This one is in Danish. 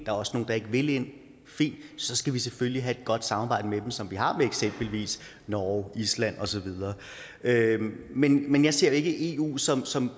er også nogle der ikke vil ind fint så skal vi selvfølgelig have et godt samarbejde med dem som vi har med eksempelvis norge island og så videre men men jeg ser ikke eu som som